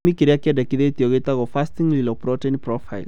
Gĩthimi kĩrĩa kĩendekithĩtio gĩtagwo fasting lipoprotein profile